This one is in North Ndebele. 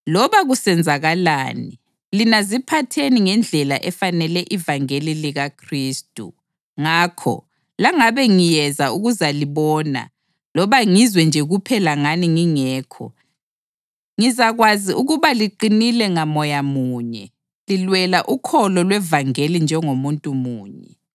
Loba kusenzakalani, lina ziphatheni ngendlela efanele ivangeli likaKhristu. Ngakho, langabe ngiyeza ukuzalibona loba ngizwe nje kuphela ngani ngingekho, ngizakwazi ukuba liqinile ngaMoya munye, lilwela ukholo lwevangeli njengomuntu munye,